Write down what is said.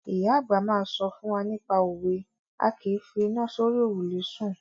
Ìyá àgbà máa ń sọ fún wa nípa òwe "A kìí fi iná sórí òrùlé sùn".